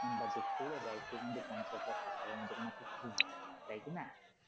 বাদে করে দেয় সে কিন্তু পঞ্চাশ বা ষাট টাকার মত কোন একটা fee নেয় তাই কিনা?